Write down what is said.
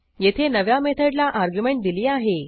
येथे नव्या मेथडला अर्ग्युमेंट दिली आहे